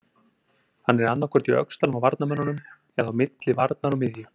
Hann er annaðhvort í öxlunum á varnarmönnunum eða á milli varnar og miðju.